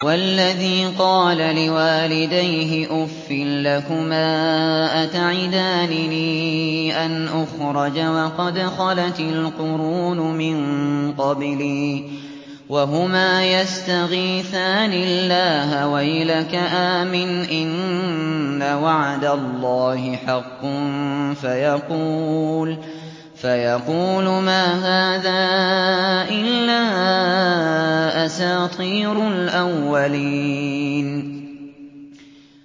وَالَّذِي قَالَ لِوَالِدَيْهِ أُفٍّ لَّكُمَا أَتَعِدَانِنِي أَنْ أُخْرَجَ وَقَدْ خَلَتِ الْقُرُونُ مِن قَبْلِي وَهُمَا يَسْتَغِيثَانِ اللَّهَ وَيْلَكَ آمِنْ إِنَّ وَعْدَ اللَّهِ حَقٌّ فَيَقُولُ مَا هَٰذَا إِلَّا أَسَاطِيرُ الْأَوَّلِينَ